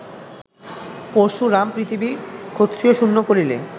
পরশুরাম পৃথিবী ক্ষত্রিয়শূন্য করিলে